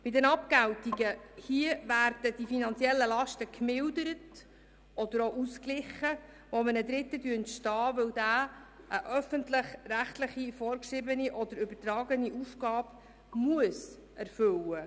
Betreffend die Abgeltungen werden die finanziellen Lasten, die einem Dritten entstehen, gemildert oder ausgeglichen, weil er eine öffentlich-rechtlich vorgeschriebene oder übertragene Aufgabe erfüllen muss.